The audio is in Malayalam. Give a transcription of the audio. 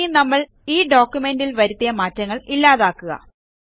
ഇനി നമ്മൾ ഈ ഡോക്യുമെന്റ് ൽ വരുത്തിയ മാറ്റങ്ങൾ ഇല്ലാതാക്കുക